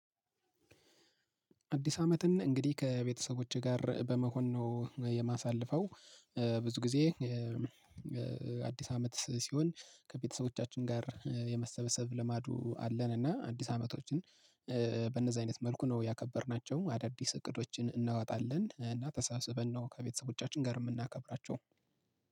አዲስ አመትን እንግዲህ ከቤተሰቦቼ ጋር በመሆን ነው የማሳልፈው ብዙ ጊዜ። አዲስ አመት ሲሆን ከቤተሰቦቻችን ጋር የመሰበሰብ ልማዱ አለን እና አዲስ አመቶችን። በእነዛ አይነት መልኩ ነው ያከበርናቸው አዳዲስ እቅዶችን እናወጣለን እና ተሳስበን ነው ከቤተሰቦቻችን ጋር የምናከብራቸው።